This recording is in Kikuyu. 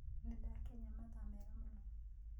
Nĩndakĩnya mathaa mega mũno.